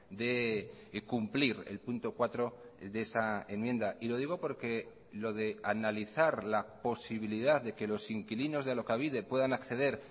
de cumplir el punto cuatro de esa enmienda y lo digo porque lo de analizar la posibilidad de que los inquilinos de alokabide puedan acceder